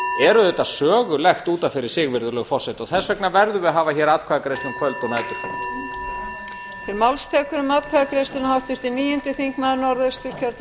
er auðvitað sögulegt út af fyrir sig og þess vegna verðum við að hafa hér atkvæðagreiðslu um kvöld og næturfund